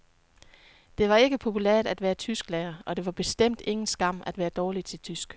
Det var ikke populært at være tysklærer, og det var bestemt ingen skam at være dårlig til tysk.